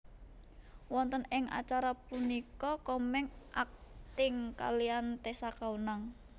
Wonten ing acara punika Komeng akting kaliyan Tessa Kaunang